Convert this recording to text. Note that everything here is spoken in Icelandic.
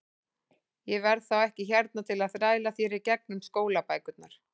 Ég verð þá ekki hérna til að þræla þér í gegnum skólabækurnar.